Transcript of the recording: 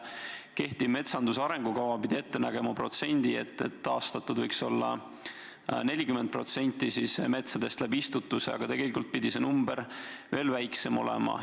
Kehtiv metsanduse arengukava näeb ette, et istutamise abil võiks olla taastatud 40% erametsadest, aga tegelikult pidi see näitaja veel väiksem olema.